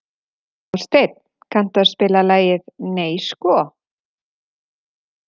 Hásteinn, kanntu að spila lagið „Nei sko“?